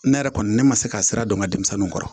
Ne yɛrɛ kɔni ne ma se ka sira dɔn n ka denmisɛnninw kɔrɔ